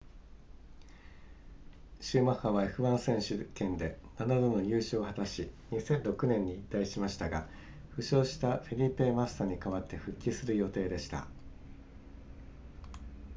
シューマッハは f1 選手権で7度の優勝を果たし2006年に引退しましたが負傷したフェリペマッサに代わって復帰する予定でした